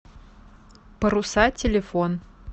паруса телефон